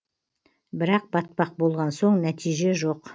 бірақ батпақ болған соң нәтиже жоқ